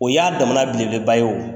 O y'a damana bele bele ba ye o.